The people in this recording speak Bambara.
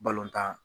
Balontan